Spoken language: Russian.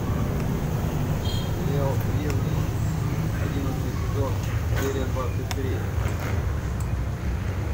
сериал древние одиннадцатый сезон серия двадцать три